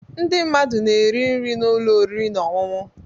Ndị mmadụ na-eri nri na ụlọ oriri na ọṅụṅụ.